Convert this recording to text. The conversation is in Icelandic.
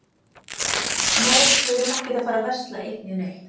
Nei, við erum ekkert að fara að versla eitt né neitt.